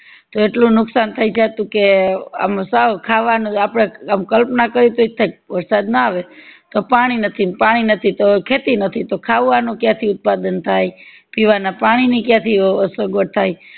કેટલું નુકશાન થય જાતું કે આમ સાવ ખાવાનુજ આપડે આમ કલ્પના કરીએ તો એજ થાય વરસાદ ના આવે તો પાણી નથી પાણી નથી તો ખેતી નથી તો ખાવાનું ક્યાંથી ઉત્પાદન થાય પીવાના પાણી ની ક્યાંથી સગવડ થાય